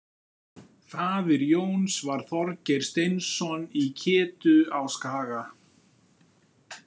Faðir Jóns var Þorgeir Steinsson í Ketu á Skaga.